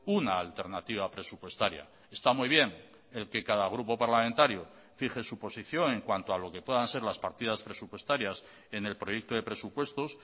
una alternativa presupuestaria está muy bien el que cada grupo parlamentario fije su posición en cuanto a lo que puedan ser las partidas presupuestarias en el proyecto de presupuestos